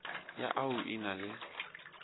ya au e na le